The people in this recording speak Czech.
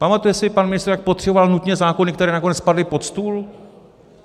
Pamatuje si pan ministr, jak potřeboval nutně zákony, které nakonec padly pod stůl?